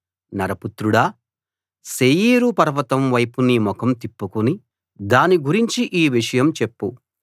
నరపుత్రుడా శేయీరు పర్వతం వైపు నీ ముఖం తిప్పుకుని దాని గురించి ఈ విషయం చెప్పు